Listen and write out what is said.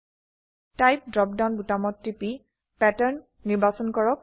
type drop down বোতামত টিপি pattern নিৰ্বাচন কৰক